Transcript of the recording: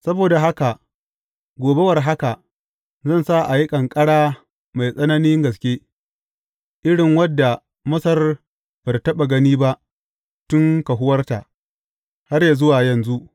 Saboda haka, gobe war haka, zan sa a yi ƙanƙara mai tsananin gaske, irin wadda Masar ba tă taɓa gani ba tun kahuwarta, har yă zuwa yanzu.